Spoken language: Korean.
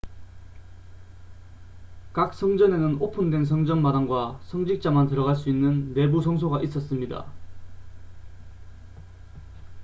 각 성전에는 오픈된 성전 마당과 성직자만 들어갈 수 있는 내부 성소가 있었습니다